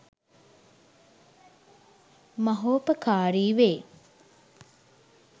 මහෝපකාරී වේ.